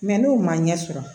Mɛ n'o ma ɲɛ sɔrɔ